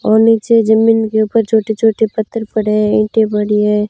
और नीचे जमीन के ऊपर छोटे छोटे पत्थर पड़े है इंटे पड़ी है।